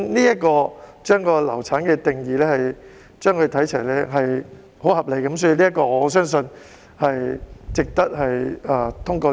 因此，把"流產"定義與它看齊是相當合理的，我相信這項修訂也是值得通過的。